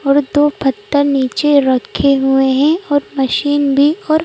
और दो पत्थर नीचे रखे हुए हैं और मशीन भी और--